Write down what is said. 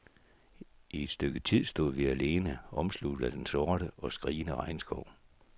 I et stykke tid stod vi alene, omsluttet af den sorte og skrigende regnskov.